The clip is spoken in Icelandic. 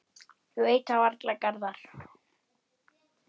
Ég veit það varla, Garðar.